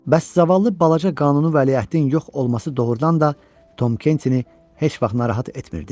Bəs zavallı balaca qanuni vəliəhdi yox olması doğrudan da Tom Kentini heç vaxt narahat etmirdi?